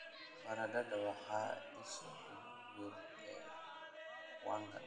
Baradhada waa isha ugu weyn ee wanga.